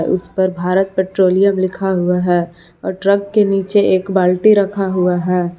उसपर भारत पेट्रोलियम लिखा हुआ है और ट्रक के नीचे एक बाल्टी रखा हुआ है।